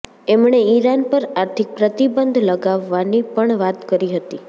એમણે ઇરાન પર આર્થિક પ્રતિબંધ લગાવવાની પણ વાત કરી હતી